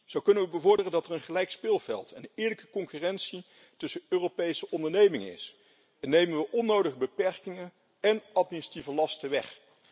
Zo kunnen we bevorderen dat er een gelijk speelveld en eerlijke concurrentie tussen Europese ondernemingen is en nemen we onnodige beperkingen en administratieve lasten weg.